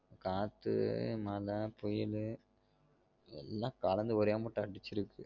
காத்து மழ புயலு எல்லாம் கலந்து ஒரே மட்டம் அடிச்சிருக்கு